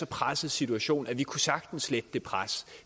presset situation men vi kunne sagtens lette det pres